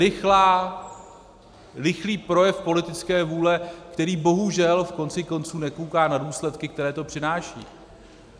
Rychlý projev politické vůle, který bohužel v konci konců nekouká na důsledky, které to přináší.